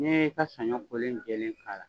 N'i y'i ka saɲɔ kolen jɛlɛn k'a la